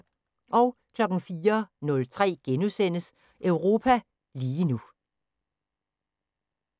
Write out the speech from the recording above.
04:03: Europa lige nu *